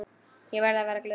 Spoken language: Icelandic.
Ég verði að vera glöð.